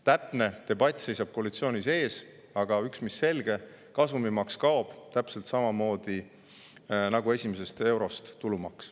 Täpne debatt seisab koalitsioonil ees, aga üks mis selge: kasumimaks kaob täpselt samamoodi nagu tulumaks esimesest eurost.